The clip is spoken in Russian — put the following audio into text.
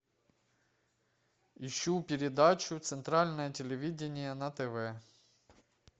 ищу передачу центральное телевидение на тв